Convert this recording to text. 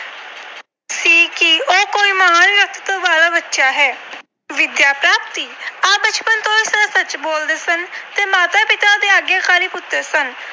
ਵਾਲਾ ਬੱਚਾ ਹੈ। ਵਿਦਿਆ ਪ੍ਰਾਪਤੀ - ਆਪ ਬਚਪਨ ਤੋਂ ਸਦਾ ਸੱਚ ਬੋਲਦੇ ਸਨ ਤੇ ਮਾਤਾ-ਪਿਤਾ ਦੇ ਆਗਿਆਕਾਰੀ ਪੁੱਤਰ ਸਨ।